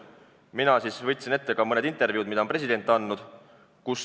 Mina võtsin ette mõne intervjuu, mida president on andnud.